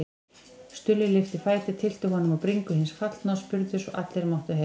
Stulli lyfti fæti, tyllti honum á bringu hins fallna og spurði svo allir máttu heyra